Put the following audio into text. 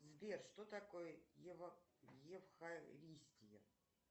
сбер что такое евхаристия